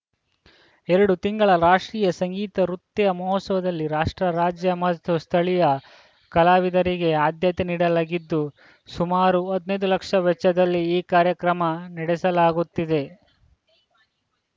ಎರಡು ತಿಂಗಳ ರಾಷ್ಟ್ರೀಯ ಸಂಗೀತ ನೃತ್ಯ ಮಹೋತ್ಸವದಲ್ಲಿ ರಾಷ್ಟ್ರ ರಾಜ್ಯ ಮತ್ತು ಸ್ಥಳೀಯ ಕಲಾವಿದರಿಗೆ ಆದ್ಯತೆ ನೀಡಲಾಗಿದ್ದು ಸುಮಾರು ಹದಿನೈದು ಲಕ್ಷ ವೆಚ್ಚದಲ್ಲಿ ಈ ಕಾರ್ಯಕ್ರಮ ನಡೆಸಲಾಗುತ್ತಿದೆ